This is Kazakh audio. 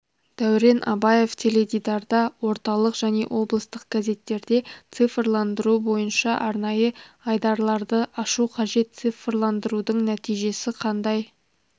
дәурен абаев теледидарда орталық және облыстық газеттерде цифрландыру бойынша арнайы айдарларды ашу қажет цифрландырудың нәтижесі қандай